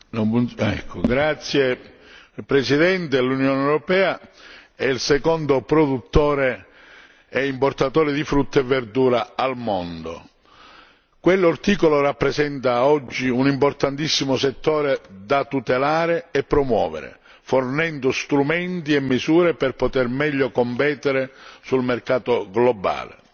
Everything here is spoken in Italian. Signora Presidente, onorevoli colleghi, l'Unione europea è il secondo produttore e importatore di frutta e verdura al mondo. Il settore orticolo rappresenta oggi un importantissimo settore da tutelare e promuovere, fornendo strumenti e misure per poter meglio competere sul mercato globale.